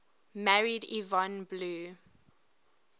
married yvonne blue